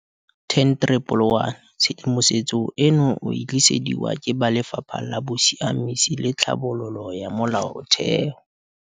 10111 Tshedimosetso eno o e tlisediwa ke ba Lefapha la Bosiamisi le Tlhabololo ya Molaotheo.